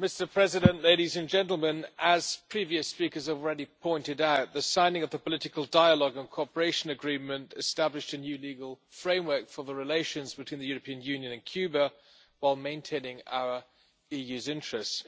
Mr President, as previous speakers have already pointed out, the signing of the political dialogue and cooperation agreement established a new legal framework for the relations between the European Union and Cuba, while maintaining our EU's interests.